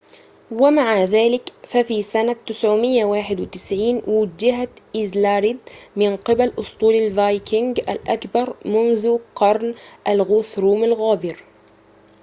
ومع ذلك ففي سنة 991 وُوجهت إيذلريد من قبل أسطول الفايكينغ الأكبر منذ قرن الغوثروم الغابر